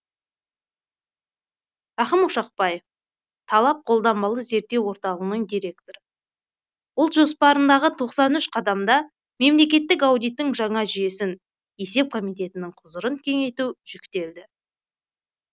рахым ошақбаев талап қолданбалы зерттеу орталығының директоры ұлт жоспарындағы тоқсан үш қадамда мемлекеттік аудиттің жаңа жүйесін есеп комитетінің құзырын кеңейту жүктелді